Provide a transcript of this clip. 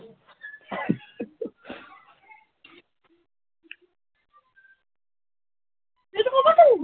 এইটো কৰ পৰা পালি?